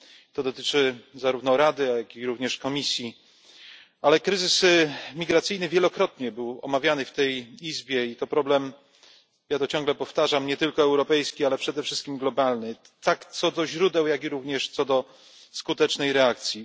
To dotyczy zarówno Rady, jak i Komisji, ale kryzysy migracyjny wielokrotnie był omawiany w tej Izbie i jest to problem ciągle to powtarzam nie tylko europejski, ale przede wszystkim globalny, tak co do źródeł, jak również co do skutecznej reakcji.